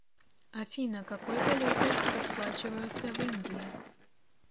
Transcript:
афина какой валютой расплачиваются в индии